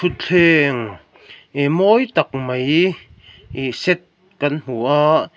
thlengg ih mawi tak mai ihh set kan hmu a.